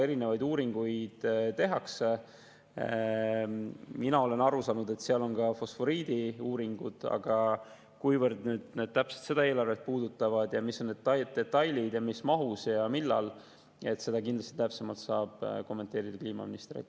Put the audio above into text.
Erinevaid uuringuid tehakse, mina olen aru saanud, et ka fosforiidiuuringuid, aga kuivõrd need täpselt seda eelarvet puudutavad ja mis on detailid ning mis mahus ja millal, seda saab kindlasti täpsemalt kommenteerida kliimaminister.